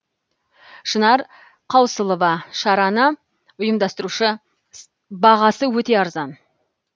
шынар қаусылова шараны ұйымдастырушы бағасы өте арзан